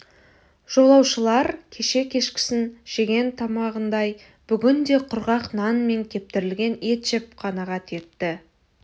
жолаушылар кеше кешкісін жеген тамағындай бүгін де құрғақ нан мен кептірілген ет жеп қанағат етті